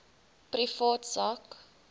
privaat sak